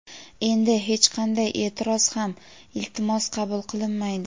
Endi hech qanday e’tiroz ham iltimos qabul qilinmaydi.